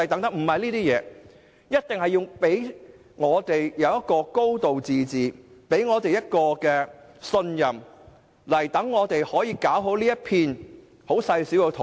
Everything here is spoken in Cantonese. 中央必須讓我們有"高度自治"及信任我們，使我們可以好好管理香港這片細小的土地。